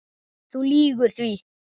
Þú lýgur því